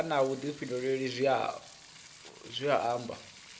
vha na vhuḓifhinduleli zwi amba